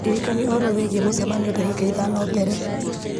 ndirikania ũhoro wĩgiĩ mũcemanio ndagĩka thano mbere